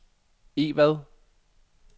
Egvad